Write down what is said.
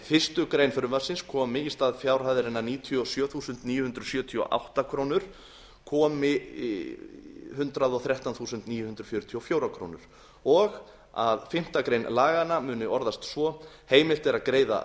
fyrsta grein í stað fjárhæðarinnar níutíu og sjö þúsund níu hundruð sjötíu og átta í fyrstu málsgrein fjórðu grein laganna kemur hundrað og þrettán þúsund níu hundruð fjörutíu og fjögur og að fimmtu grein laganna muni orðast svo heimilt er að greiða